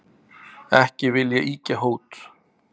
Ekki vil ég ýkja hót,